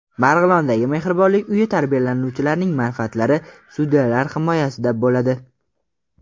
Marg‘ilondagi Mehribonlik uyi tarbiyalanuvchilarining manfaatlari sudyalar himoyasida bo‘ladi.